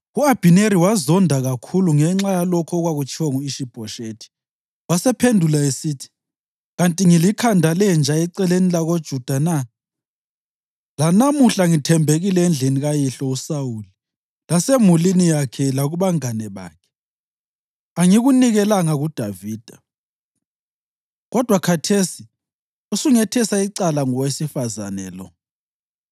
U-Abhineri wazonda kakhulu ngenxa yalokho okwatshiwo ngu-Ishi-Bhoshethi, wasephendula esithi, “Kanti ngilikhanda lenja eceleni lakoJuda na? Lanamuhla ngithembekile endlini kayihlo uSawuli lasemulini yakhe lakubangane bakhe. Angikunikelanga kuDavida. Kodwa khathesi usungethesa icala ngowesifazane lo!